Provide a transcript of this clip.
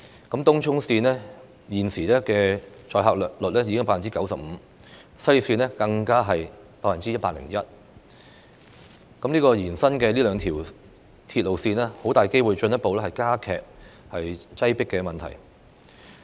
東涌綫現時的載客率已經高達 95%， 西鐵綫更達 101%， 這兩條延伸的鐵路線很大機會會進一步加劇鐵路擠迫的問題。